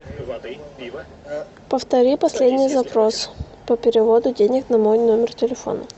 повтори последний запрос по переводу денег на мой номер телефона